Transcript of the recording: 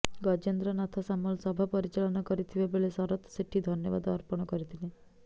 ଗଜେନ୍ଦ୍ର ନାଥ ସାମଲ ସଭା ପରିଚାଳନା କରିଥିବା ବେଳେ ଶରତ ସେଠୀ ଧନ୍ୟବାଦ ଅର୍ପଣ କରିଥିଲେ